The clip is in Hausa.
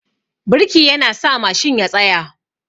Birki yana sa Mashin ya tsaya